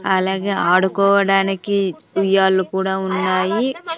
అలాగే ఆడుకోవడానికి ఉయ్యాలు కూడా ఉన్నాయి.